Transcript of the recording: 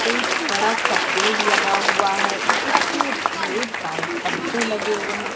एक बड़ा सा पेड़ लगा हुआ है जिसमें ढेर सारे पत्ते लगे हुए हैं।